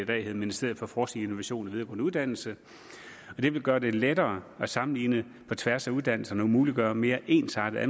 dag hedder ministeriet for forskning innovation og videregående uddannelser og det vil gøre det lettere at sammenligne på tværs af uddannelserne og muliggøre mere ensartede